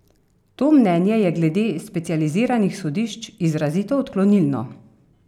To mnenje je glede specializiranih sodišč izrazito odklonilno.